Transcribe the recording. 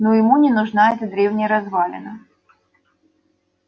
но ему не нужна эта древняя развалина